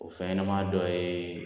O fɛnɲɛnɛma dɔ ye